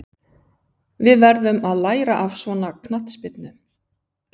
Við verðum að læra af svona knattspyrnu.